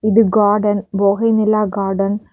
இது கார்டன் பொகை நிலா கார்டன் .